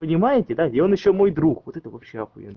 понимаете да и он ещё мой друг вот это вообще охуенно